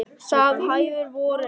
Það hæfir vorinu.